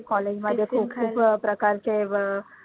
college मध्ये खूप खूप वेगळ्या प्रकारचे